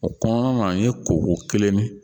O kɔnɔna na an ye koko kelen min